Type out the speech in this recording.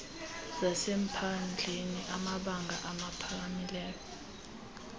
zasemaphandleni amabanga aphakamileyo